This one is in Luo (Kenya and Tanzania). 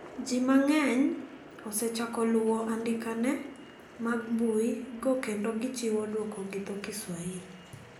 Ji mang`eny osechako luwo andikene mag mbui go kendo gichiwo duoko gi dho kiswahili.